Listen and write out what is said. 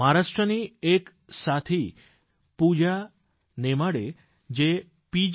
મહારાષ્ટ્રની એક યુવા સાથી પૂજા નેમાડે જે પી